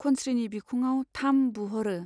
खनस्रीनि बिखुङाव थाम बुह'रो।